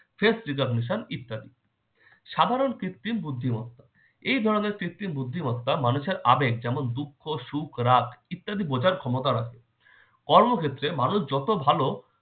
face recognition ইত্যাদি। সাধারণ কৃত্রিম বুদ্ধিমত্তা- এ ধরনের কৃত্রিম বুদ্ধিমত্তা মানুষের আবেগ যেমন দুঃখ, সুখ, রাগ ইত্যাদি বোঝার ক্ষমতা রাখে। কর্মক্ষেত্রে মানুষ যত ভালো